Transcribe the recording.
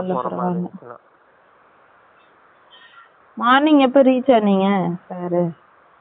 morning எப்போ reach ஆனிங்க sir உ